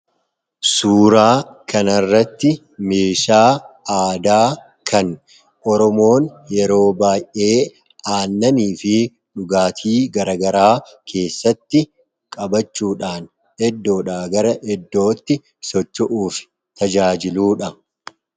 Suuraa kanarratti meeshaa aadaa kan oromoon yeroo baayyee aannanii fi dhugaatii garagaraa keesaatti qabachuudhaan iddoodhaa gara iddootti socho'uuf tajaajiludha.